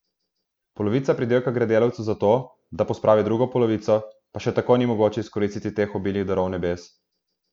Polovica pridelka gre delavcu za to, da pospravi drugo polovico, pa še tako ni mogoče izkoristiti teh obilnih darov nebes.